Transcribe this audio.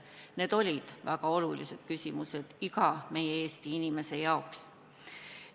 Need olid väga olulised küsimused iga Eesti inimese jaoks.